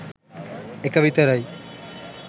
එක විතරයි